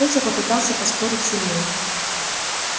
петя попытался поспорить с ильёй